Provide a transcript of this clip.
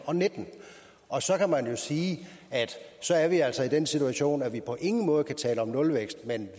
og nitten og så kan man jo sige at vi altså er i den situation at vi på ingen måde kan tale om en nulvækst men